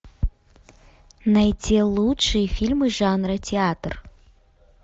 найти лучшие фильмы жанра театр